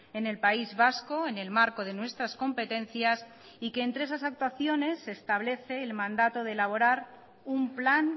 en el país vasco en el marco de nuestras competencias y que entre esas actuaciones se establece el mandato de elaborar un plan